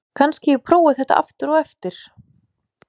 Kannski að ég prófi þetta aftur á eftir?